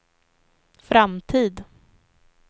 framtid